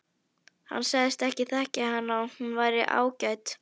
Hann sagðist þekkja hana og hún væri ágæt.